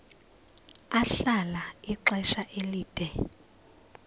ahlala ixesha elide